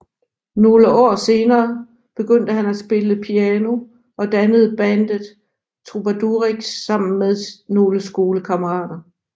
Nogle år senere begyndte han at spille piano og dannede bandet Trubadurix sammen med nogle skolekammarater